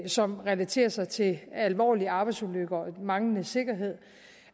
som relaterer sig til alvorlige arbejdsulykker og manglende sikkerhed